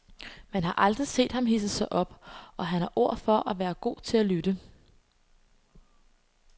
Man har aldrig set ham hidse sig op, og han har ord for at være god til at lytte.